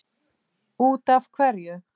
Út af hverju?